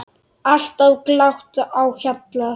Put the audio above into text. Alltaf glatt á hjalla.